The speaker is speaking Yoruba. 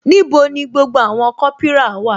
Níbo ni gbogbo àwọn kopira wà?